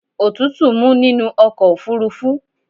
Òtútù mú nínú ọkọ̀ ofúrúfú.